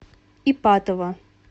ипатово